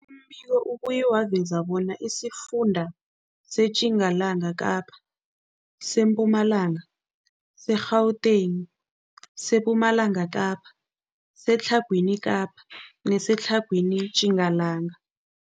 Umbiko ubuye waveza bona isifunda seTjingalanga Kapa, seMpumalanga, seGauteng, sePumalanga Kapa, seTlhagwini Kapa neseTlhagwini Tjingalanga.